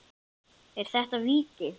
Er þetta víti?